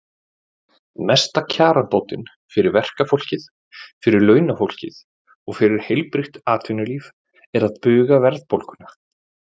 Mesta kjarabótin fyrir verkafólkið, fyrir launafólkið og fyrir heilbrigt atvinnulíf er að buga verðbólguna.